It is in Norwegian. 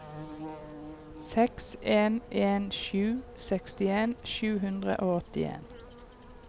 seks en en sju sekstien sju hundre og åttien